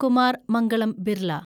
Kumar Mangalam Birla